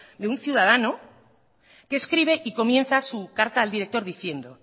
de un ciudadano que escribe y comienza su carta al director diciendo